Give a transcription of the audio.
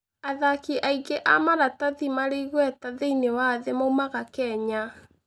Athaki aingĩ a maratathi marĩ igweta thĩinĩ wa thĩ moimaga Kenya.